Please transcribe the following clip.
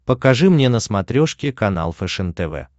покажи мне на смотрешке канал фэшен тв